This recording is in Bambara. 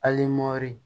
Alimamu